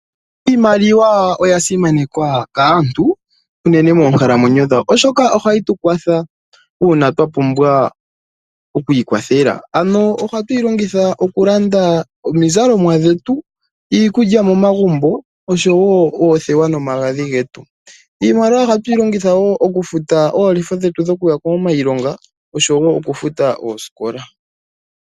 Iimaliwa oyasimanewa kaantu unene moonkalamwenyo dhawo oshoka ohayi tu kwatha uuna twa pumbwa okwiikwathela. Ohatuyi longitha okulanda omizalomwa dhetu, iikudja momagumbo osho wo oothewa nomagadhi getu. Iimaliwa ohatuyi longitha okufuta oolefa dhomuya komayilonga nosho wo okufuta oosikola.